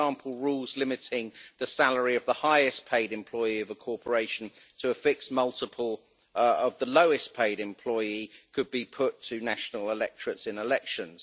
For example, rules limiting the salary of the highest paid employee of a corporation to a fixed multiple of the lowest paid employee could be put to national electorates in elections.